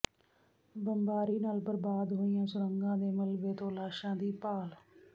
ਬੰਬਾਰੀ ਨਾਲ ਬਰਬਾਦ ਹੋਈਆਂ ਸੁਰੰਗਾਂ ਦੇ ਮਲਬੇ ਤੋਂ ਲਾਸ਼ਾਂ ਦੀ ਭਾਲ